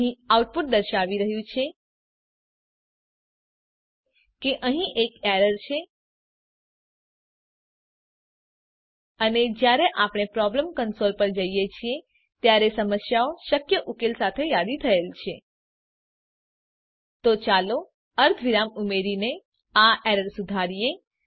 અહીં આઉટપુટ દર્શાવી રહ્યું છે કે અહીં એક એરર છે અને જયારે આપણે પ્રોબ્લેમ કંસોલ પર જઈએ છીએ તમામ સમસ્યાઓ શક્ય ઉકેલ સાથે યાદી થયેલ છે તો ચાલો અર્ધ વિરામ ઉમેરીને આ એરરને સુધારીએ